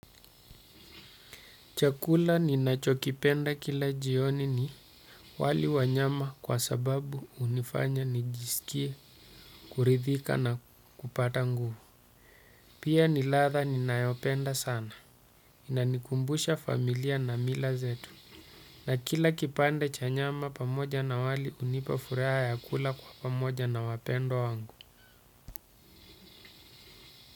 Chakula ninachokipenda kila jioni ni wali wanyama kwa sababu unifanya nijisikie, kuridhika na kupata nguvu. Pia ni ladha ninayopenda sana. Inanikumbusha familia na mila zetu. Na kila kipande chanyama pamoja na wali unipa furaha ya kula kwa pamoja na wapendwa wangu.